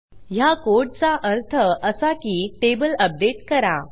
ह्या कोडचा अर्थ असा की टेबल अपडेट करा